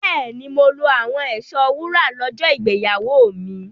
Bẹ́ẹ̀ni, mo lo àwọn ẹ̀ṣọ́ wúrà lọ́jọ́ ìgbéyàwó mi.